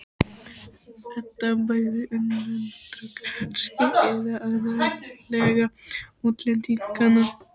Edda: Bæði innlendra kannski, eða aðallega útlendinganna?